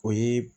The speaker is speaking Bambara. O ye